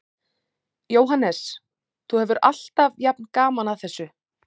Jóhannes: Þú hefur alltaf jafn gaman að þessu?